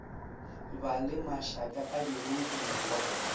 ba le mašaka a diruiwa